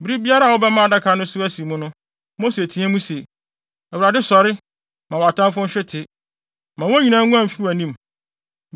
Bere biara a wɔbɛma adaka no so asi mu no, Mose teɛ mu se, “ Awurade, sɔre! Ma wʼatamfo nhwete; ma wɔn nyinaa nguan mfi wʼanim.”